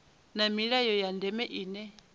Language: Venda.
na milayo ya ndeme ine